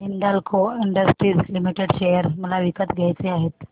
Hindalco industries limited share मला विकत घ्यायचे आहेत